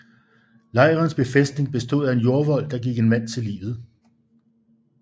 Lejrens befæstning bestod af en jordvold der gik en mand til livet